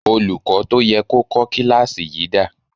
Olùkọ́ tó yẹ kó kọ́ kíláàsì yìí dà?